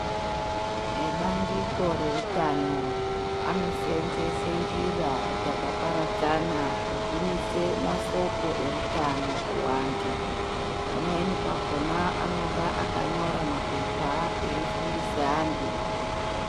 Ebandiko reutano anosenzese njira dzakaparadzana kugumise masoko eutano kuantu pamweni pakhona anonga akanyora mapepa eifundise antu.